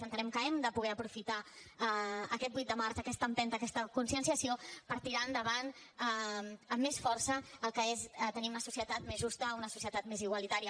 entenem que hem de poder aprofitar aquest vuit de març aquesta empenta aquesta conscienciació per tirar endavant amb més força el que és tenir una societat més justa una societat més igualitària